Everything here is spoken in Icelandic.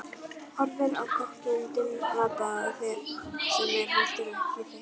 Horfir á kokkinn dimmraddaða sem er heldur en ekki þykkjuþungur.